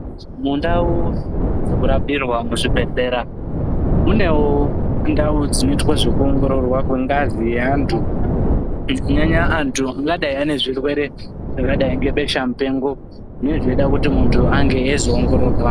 Mundau dzekurapirwa muzvibhedhlera munevo ndau dzinoita zvekuongororwa kwengazi yeantu. Kunyanya-nyanya antu angadai ane zvirwere zvakadai ngebesha mupengo zvine zveida kuti muntu azoongororwa.